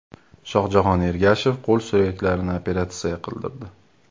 Shohjahon Ergashev qo‘l suyaklarini operatsiya qildirdi .